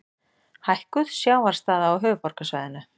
Hækkuð sjávarstaða á höfuðborgarsvæðinu.